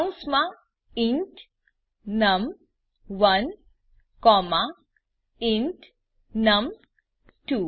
કૌંસમાં ઇન્ટ નમ1 comma int નમ2